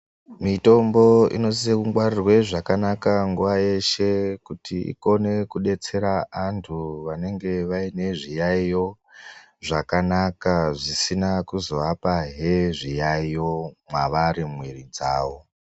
Mitombo inosise kungwarirwe zvakanaka nguwa yeshe kuti ikone kudetsera antu vanenge vaine zviyaiyo zvakanaka zvisina kuzoapahe zviyaiyo mwavari mumwiri dzavo.